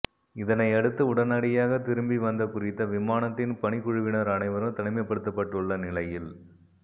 இதனையடுத்து உடனடியாக திரும்பி வந்த குறித்த விமானத்தின் பணிக்குழுவினர் அனைவரும் தனிமைப்படுத்தப்பட்டுள்ள நிலையில்